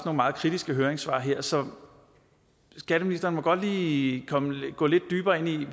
meget kritiske høringssvar her så skatteministeren må godt lige gå lidt dybere ind i